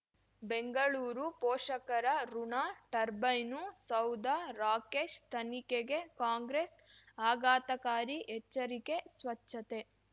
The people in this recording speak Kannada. ಬೆಂಗಳೂರು ಪೋಷಕರಋಣ ಟರ್ಬೈನು ಸೌಧ ರಾಕೇಶ್ ತನಿಖೆಗೆ ಕಾಂಗ್ರೆಸ್ ಆಘಾತಕಾರಿ ಎಚ್ಚರಿಕೆ ಸ್ವಚ್ಛತೆ